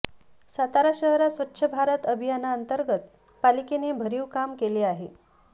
सातारा शहरात स्वच्छ भारत अभियानातंर्गत पालिकेने भरीव काम केले आहे